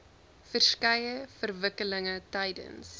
verskeie verwikkelinge tydens